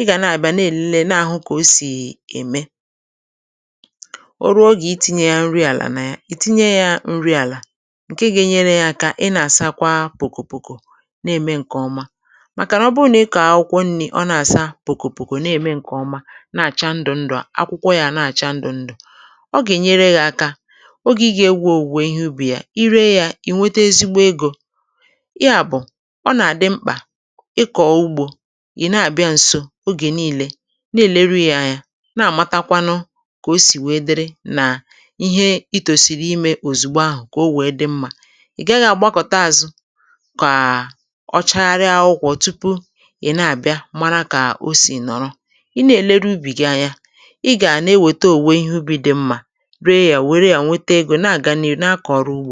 ị gà na-àbịa na-èle na-àhụ kà o sì ème. Ọ ruo oge iti̇nyė ya nri àlà nà ya ị̀ tinye ya nri àlà ǹke ga-enyere yȧ aka ị nà-àsa kwa pòkòpòkò na-ème ǹkè ọma, màkà nà ọ bụrụ nà ị kọ̀ọ akwụkwọ nni̇ ọ na-àsa pòkòpòkò na-ème ǹkè ọma na-àcha ndụ̀ ndụ̀ à akwụkwọ yȧ na-àcha ndụ̀ ndụ̀; ọ ga-enyere gị aka oge ị ga-ewo owụwe ìhè ụbi yà, ire yȧ ị̀ nwete ezigbo egȯ. Yà bụ̀ ọ̀ nà-àdị mkpà ịkọ̀ ugbȯ ị̀ na-àbịa ǹso ogè niilė na-èleru yȧ anyȧ, na-àmatakwanụ kà o sì wee dịrị nà ihe itòsiri imė òzùgbo ahụ̀ kà o wèe dị mmȧ. Ị gaghị̇ àgbakọ̀ta àzụ, kàà ọ chagharịa akwụkwọ tupu ị̀ na-àbịa mara kà o sì nọ̀rọ. Ị na-èlere ubì gi Anya, ị ga na-eweta owụwe ìhè ụbi dị mmȧ, réé yà wéré yà nwétè égo nà-ágà n'ị́rụ na-akọ ọrụ ugbo.